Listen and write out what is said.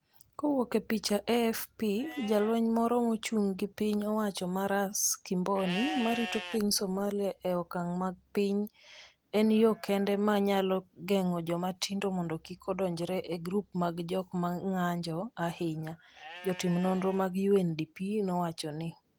kowuok e picha AFP, Jalweny moro mochung' gi piny owacho ma Ras Kimboni ma rito piny Somalia e okang’ ma piny en yo kende ma nyalo geng’o joma tindo mondo kik odonjre e grup mag jok ma ng’anjo ahinya, jotim nonro mag UNDP nowacho ni.